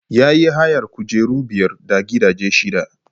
Ya yi hayar kujeru biyar da gidaje shida.